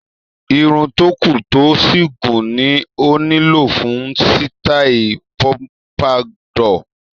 Irun tó kún, tó sì gùn ni ó nílò fún sítáì pompadour.